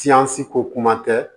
Siyansi ko kuma tɛ